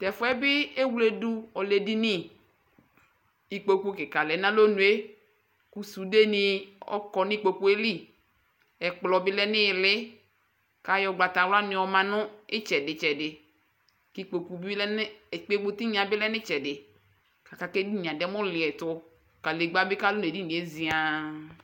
tɛ fuɛ bi ewluedu ku ɔlɛ edini ikpoku kika lɛ nu alɔnue ku suɖe ni ɔkɔ ni ikpokue li ɛkplɔ bi lɛ n'iɣili k'ayɔ gbata wla ni yɔ ma nu ithɛdi- itchɛdi ku ikpoku tiŋna bi lɛ nu itchɛdi aka ku edinie adɛ mu liɛtu kadegba bi kalu n'edinie zian